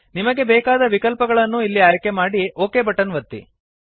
ನಿಮಗೆ ಬೇಕಾದ ವಿಕಲ್ಪಗಳನ್ನು ಇಲ್ಲಿ ಆಯ್ಕೆ ಮಾಡಿ ಒಕ್ ಬಟನ್ ಒತ್ತಿ